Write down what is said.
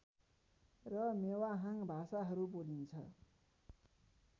र मेवाहाङ् भाषाहरू बोलिन्छ